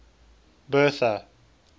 bertha